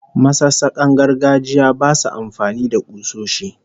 Masassakan gargajiya basu amfani da kusoshi